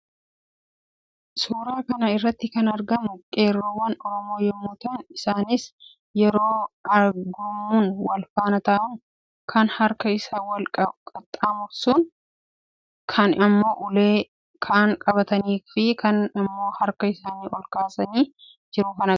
Suuraa kana irratti kan argaman qeerroowwan Oromoo yammuu ta'an; isaannis yeroo gurmuun walfaana ta'uun kan harka isaa wal qaxxamursuun, kaan immoo ulee kan qabatanii fi kaan immoo harka isaanii olkaasaa jiru kan agarsiisuudha.